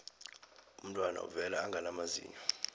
umntwana uvela angana mazinyo